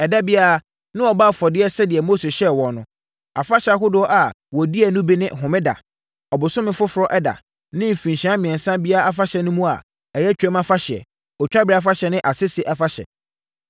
Ɛda biara, na wɔbɔ afɔdeɛ sɛdeɛ Mose hyɛɛ wɔn no. Afahyɛ ahodoɔ a wɔdiiɛ no bi ne Homeda, Ɔbosome Foforɔ Ɛda, ne mfirinhyia mmiɛnsa biara afahyɛ no mu a, ɛyɛ Twam Afahyɛ, Otwaberɛ Afahyɛ ne Asese Afahyɛ.